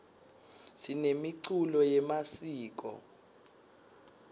sinemiculo yemasiko